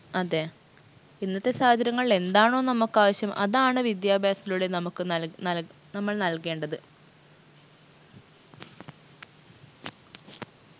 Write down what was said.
അതെ ഇന്നത്തെ സാഹചര്യങ്ങളിൽ എന്താണോ നമ്മക്കാവിശ്യം അതാണ് വിദ്യാഭ്യാസത്തിലൂടെ നമുക്ക് നൽ നൽ നമ്മൾ നൽകേണ്ടത്